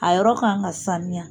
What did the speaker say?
A yɔrɔ kan ka sanuya.